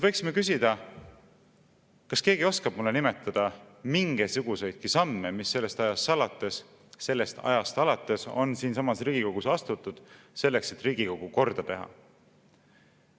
Võiksime küsida, kas keegi oskab nimetada mingisuguseidki samme, mis sellest ajast alates on siinsamas Riigikogus astutud, selleks et Riigikogu korda teha.